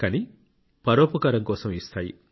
కానీ పరోపకారం కోసం ఇస్తాయి